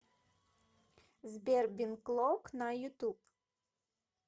сбер бен клок на ютуб